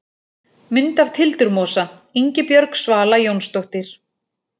Mynd af tildurmosa: Ingibjörg Svala Jónsdóttir.